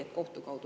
Aitäh!